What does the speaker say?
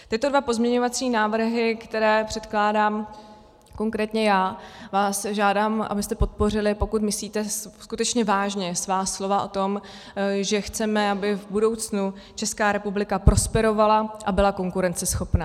Tyto dva pozměňovací návrhy, které předkládám konkrétně já, vás žádám, abyste podpořili, pokud myslíte skutečně vážně svá slova o tom, že chceme, aby v budoucnu Česká republika prosperovala a byla konkurenceschopná.